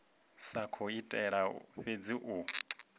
sa khou itela fhedzi u